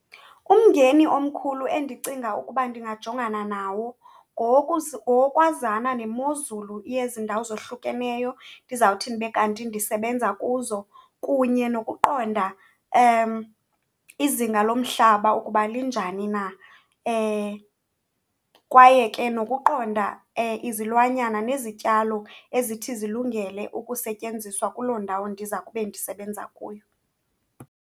Umngeni omkhulu endicinga ukuba ndingajongana nawo ngowokwazana nemozulu yezi ndawo zohlukeneyo ndizawuthi ndibe kanti ndisebenza kuzo kunye nokuqonda izinga lomhlaba ukuba linjani na. Kwaye ke nokuqonda izilwanyana nezityalo ezithi zilungele ukusetyenziswa kuloo ndawo ndiza kube ndisebenza kuyo.